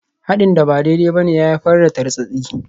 Haɗin da ba daidai ba ne ya haifar da tartsatsi.